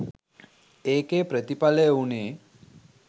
ඒකෙ ප්‍රතිඵලය වුණේ